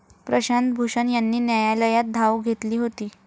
प्रशांत भूषण यांनी न्यायालयात धाव घेतली होती.